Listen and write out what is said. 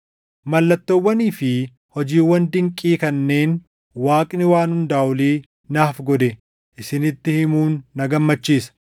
Mallattoowwanii fi hojiiwwan dinqii kanneen Waaqni Waan Hundaa Olii naaf godhe isinitti himuun na gammachiisa.